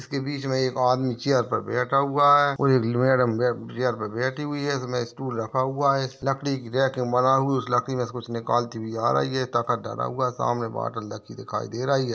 इसके बीच मे आदमी चेअर पर बैठा हुआ है। और एक मैडम या चेअर पर बैठी हुई है। एक मे स्टूल रखा हुआ है। लकड़ी की रॅक बना हु उस लकड़ी मे कुछ निकालती हुई आ रही है। टका डरा हुआ है सामने बॉटल रखी दिखाई दे रही है।